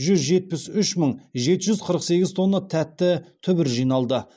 жүз жетпіс үш мың жеті жүз қырық сегіз тонна тәтті түбір жиналды